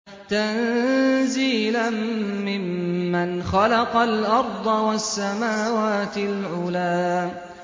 تَنزِيلًا مِّمَّنْ خَلَقَ الْأَرْضَ وَالسَّمَاوَاتِ الْعُلَى